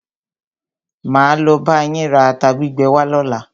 Máa lo bá yín ra ata gbígbẹ wá lọ́la.